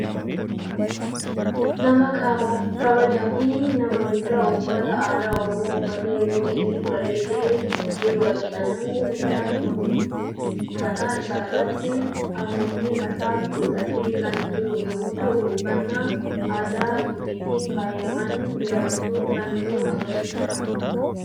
Nama kabaaja fi nama guddaa uffata aadaa oromoo uffate, yeroo inni bareede jiru argina. namni guddaan kun mataa isaarratti aguuggii mataa godhate kan jiru yemmu ta'u, uffanna aadaa gujiitiin faayamani jiraachu kan nu agarsiisuudha.